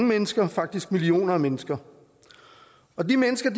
mennesker faktisk millioner af mennesker og de mennesker